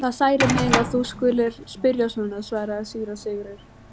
Það særir mig að þú skulir spyrja svo, svaraði síra Sigurður.